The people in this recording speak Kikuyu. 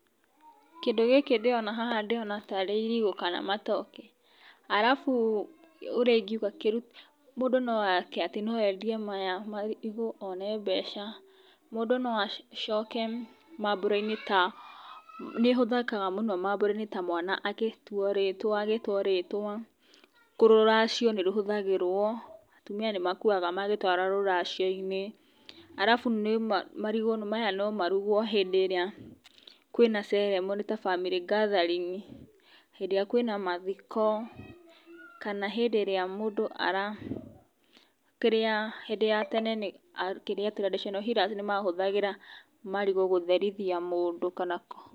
Kĩndũ gĩkĩ ndĩrona haha ndĩrona tarĩ irigũ kana matoke, arabu ũrĩa ingĩuga kĩrutaga mũndũ no ekĩte atĩ no endie maya marigũ one mbeca, mũndũ no acoke mambura-inĩ ta nĩ ĩhũthĩkaga mũno mambura-inĩ ta mwana agĩtuo rĩtwa agĩtwo rĩtwa rũracio nĩ rũtũmagĩrwo atumia nĩ makuaga magĩtwara rũracio-inĩ arabu marigũ maya no marugwo hĩndĩ ĩrĩa kwĩna ceremony ta family gathering, hĩndĩ ĩrĩa kwĩna mathiko kana hĩndĩ ĩrĩa mũndũ ara ,kĩrĩa, hĩndĩ ya tene kĩrĩa traditional healers nĩ mahũthagĩra marigũ gũtherithia mũndũ kana,